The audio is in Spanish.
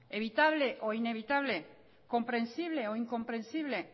evitable o inevitable comprensible o incomprensible